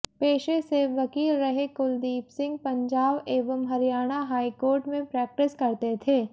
पेशे से वकील रहे कुलदीप सिंह पंजाब एवं हरियाणा हाईकोर्ट में प्रेक्टिस करते थे